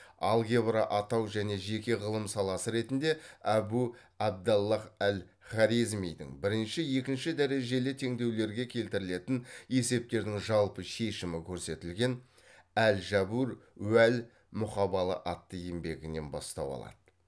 алгебра атау және жеке ғылым саласы ретінде әбу абдаллаһ әл хорезмидің бірінші екінші дәрежелі теңдеулерге келтірілетін есептердің жалпы шешімі көрсетілген әл жәбр уә л мұқабала атты еңбегінен бастау алады